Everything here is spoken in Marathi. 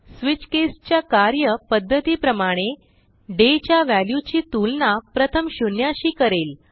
स्विच केस च्या कार्य पध्दती प्रमाणे डे च्या व्हॅल्यूची तुलना प्रथम शून्याशी करेल